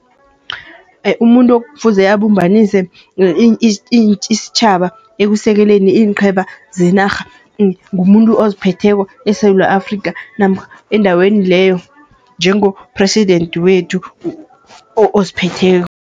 Umuntu ekufuze abumbanise isitjhaba ekusekeleni iinqhema zenarha. Ngumuntu oziphetheko eSewula Afrikha namkha endaweni leyo, njengo-President wethu oziphetheko.